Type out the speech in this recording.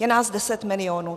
Je nás deset milionů.